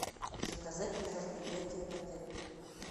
заказать мероприятие в отеле